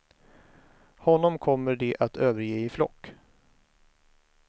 Honom kommer de att överge i flock.